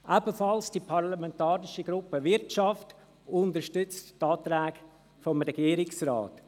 Auch die parlamentarische Gruppe Wirtschaft unterstützt die Anträge des Regierungsrates.